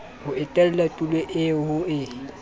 ho etela tulo eo ho